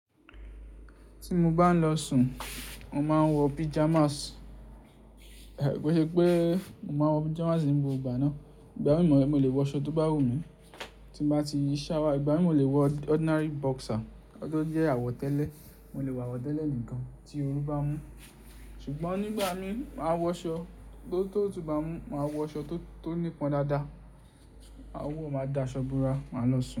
Tí mo bá ń lọ sùn, mo máa ń wọ pajamas. Kosi pe mo máa wọ pajamas nígbà ọgbà náà, ìgbà mi mo lè wọ aṣọ tó bá wù mí. Tí mo bá ti yí shower, ìgbà mi mo lè wọ ordinary boxer, ti o jẹ́ àwọ̀tẹ́lẹ̀, mo lè wọ àwọ̀tẹ́lẹ̀ nìkan tí ooru bá mú. Ṣùgbọ́n nígbà mi, màá wọ aṣọ tó tó tó bá mú, màá wọ aṣọ tó tó nípọn dáadáa, àwọ̀ máa da asọ búra, màá lọ sùn.